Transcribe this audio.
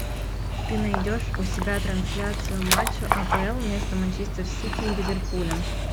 ты найдешь у себя трансляцию матча апл между манчестер сити и ливерпулем